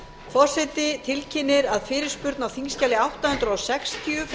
forseti tilkynnir að fyrirspurn á þingskjali átta hundruð sextíu frá